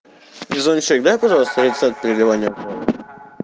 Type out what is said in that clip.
везунчик дай пожалуйста рецепт переливания крови